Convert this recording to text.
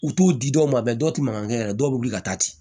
U t'u di dɔw ma dɔw tɛ mankan kɛ yɛrɛ dɔw bɛ wuli ka taa ten